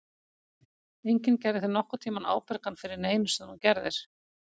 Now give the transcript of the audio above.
Enginn gerði þig nokkurn tímann ábyrgan fyrir neinu sem þú gerðir.